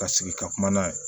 Ka sigi ka kuma n'a ye